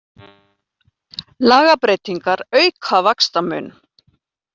Lagabreytingar auka vaxtamun